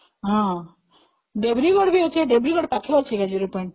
ହଁ, ଦେବ୍ରିଗଡ ପାଖରେ ଅଛି ନା zero point ?